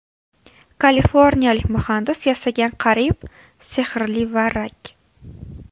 Kaliforniyalik muhandis yasagan qariyb sehrli varrak.